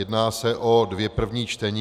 Jedná se o dvě první čtení.